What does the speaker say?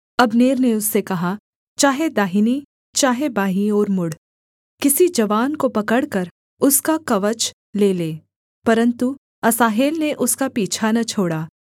Abner ने उससे कहा चाहे दाहिनी चाहे बाईं ओर मुड़ किसी जवान को पकड़कर उसका कवच ले ले परन्तु असाहेल ने उसका पीछा न छोड़ा